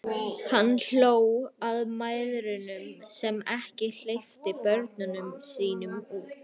Hann hló að mæðrunum sem ekki hleyptu börnunum sínum út.